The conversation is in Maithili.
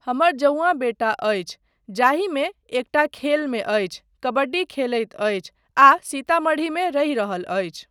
हमर जौंऑं बेटा अछि जाहिमे एकटा खेलमे अछि, कबड्डी खेलैत अछि आ सीतामढ़ीमे रहि रहल अछि।